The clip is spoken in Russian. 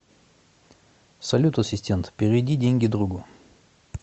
салют ассистент переведи деньги другу